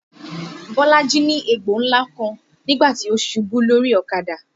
Bolaji ní egbò ńlá kan nígbà tí ó ṣubú lórí ọ̀kadà